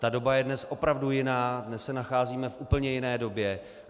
Ta doba je dnes opravdu jiná, dnes se nacházíme v úplně jiné době.